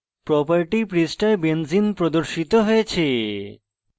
property পৃষ্ঠায় benzene প্রদর্শিত হয়েছে